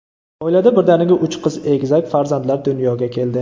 Oilada birdaniga uch qiz egizak farzandlar dunyoga keldi.